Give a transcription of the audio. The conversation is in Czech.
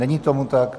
Není tomu tak.